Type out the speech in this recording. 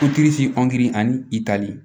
ani i tali